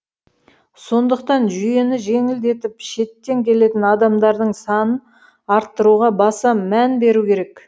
сондықтан жүйені жеңілдетіп шеттен келетін адамдардың санын арттыруға баса мән беру керек